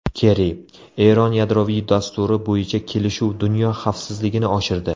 Kerri: Eron yadroviy dasturi bo‘yicha kelishuv dunyo xavfsizligini oshirdi.